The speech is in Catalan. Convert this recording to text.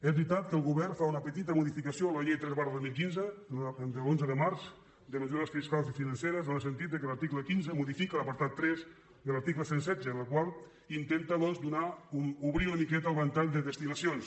és veritat que el govern fa una petita modificació a la llei tres dos mil quinze de l’onze de març de mesures fiscals i financeres en el sentit que l’article quinze modifica l’apartat tres de l’article cent i setze en el qual intenta doncs obrir una miqueta el ventall de destinacions